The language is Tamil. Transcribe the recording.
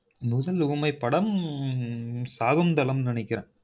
முதல் ஊமைப்படம்ம்ம்ம்ம்ம் சாகுந்தலம் நெனைக்கிற